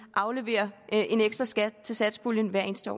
aflevere en ekstra skat til satspuljen hvert eneste